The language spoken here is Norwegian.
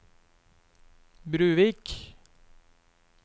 Bruvik